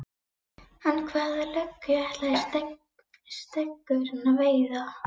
En hvaða löggu ætlaði Steggurinn að veiða?